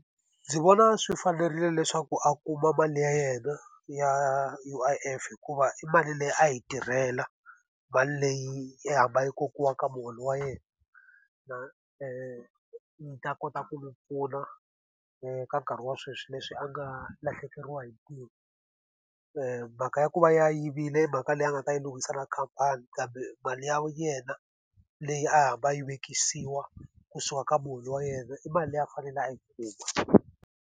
Ndzi vona swi fanerile leswaku a kuma mali ya yena ya U_I_F hikuva i mali leyi a yi tirhela, mali leyi a hamba yi kokiwa eka muholo wa yena. yi ta kota ku pfuna eka nkarhi wa sweswi leswi a nga lahlekeriwa hi ntirho. Mhaka ya ku va a yivile mhaka leyi a nga ta yi lwisana khamphani kambe mali ya yena leyi a hamba a yi vekisiwa kusuka ka muholo wa yena, i mali leyi a fanele a yi kuma.